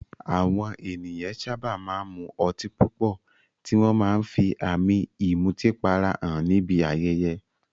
Àwọn ènìyàn sábà máa ń mu ọtí púpọ̀, tí wọ́n máa ń fi àmì ìmutípara hàn níbi ayẹyẹ.